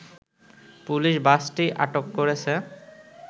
police বাসটি আটক করেছে